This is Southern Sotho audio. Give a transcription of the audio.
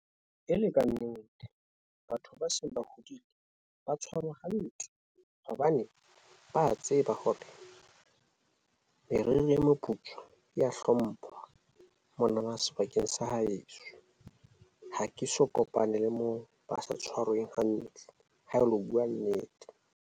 E le kannete, batho ba seng ba hodile ba tshwarwa hantle hobane ba tseba hore meriri e moputswa ya hlomphwa. Mona na sebakeng sa haheso ha ke so kopane le moo ba sa tshwarweng hantle ha e lo bua nnete.